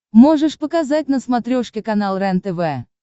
можешь показать на смотрешке канал рентв